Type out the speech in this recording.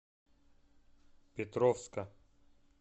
петровска